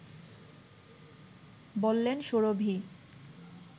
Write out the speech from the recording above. বললেন সুরভী